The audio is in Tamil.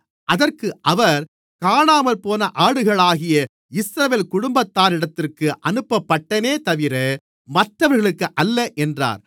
அதற்கு அவர் காணாமற்போன ஆடுகளாகிய இஸ்ரவேல் குடும்பத்தாரிடத்திற்கு அனுப்பப்பட்டேனேதவிர மற்றவர்களுக்கல்ல என்றார்